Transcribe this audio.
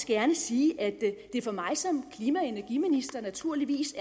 gerne sige at det for mig som klima og energiminister naturligvis